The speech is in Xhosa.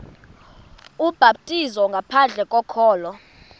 ubhaptizo ngaphandle kokholo